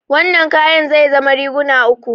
Wannan kayan zai zama riguna uku.